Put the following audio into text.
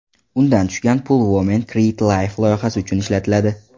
Undan tushgan pul Women Create Life loyihasi uchun ishlatiladi.